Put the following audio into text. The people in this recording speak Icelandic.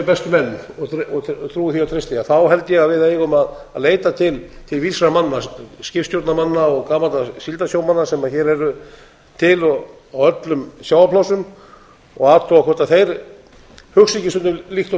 bestu menn og trúi því og treysti held ég að við eigum að leita til vísra manna skipstjórnarmanna og gamalla síldarsjómanna sem hér eru til í öllum sjávarplássum og athuga hvort þeir hugsi ekki stundum líkt og